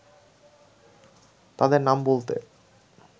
তাদের নাম বলতে